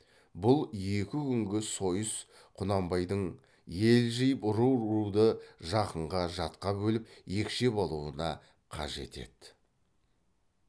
бұл екі күнгі сойыс құнанбайдың ел жиып ру руды жақынға жатқа бөліп екшеп алуына қажет еді